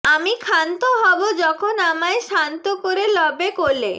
আমি ক্ষান্ত হব যখন আমায় শান্ত করে লবে কোলে